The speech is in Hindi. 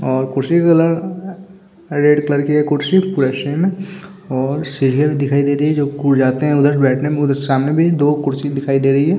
और कुर्सी रेड कलर की कुर्सी और सीढ़ियां भी दिखाई दे रही है जाते है सामने में दो कुर्सी दिखाई दे रही है।